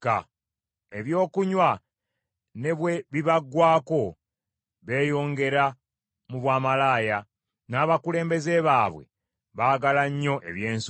Ebyokunywa ne bwe bibaggwaako, beeyongera mu bwamalaaya; n’abakulembeze baabwe baagala nnyo eby’ensonyi: